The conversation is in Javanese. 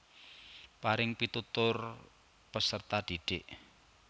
Paring pitutur peserta didik